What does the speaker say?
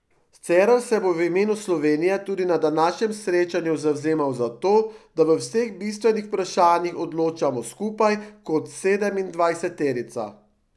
Cerar si bo v imenu Slovenije tudi na današnjem srečanju zavzemal za to, da v vseh bistvenih vprašanjih odločamo skupaj kot sedemindvajseterica.